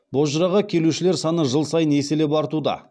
бозжыраға келушілер саны жыл сайын еселеп артуда